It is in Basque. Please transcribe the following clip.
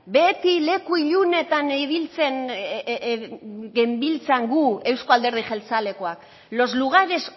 beti leku ilunetan ibiltzen genbiltzan gu euzko alderdi jeltzalekoak los lugares